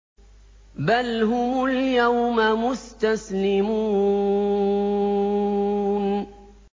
بَلْ هُمُ الْيَوْمَ مُسْتَسْلِمُونَ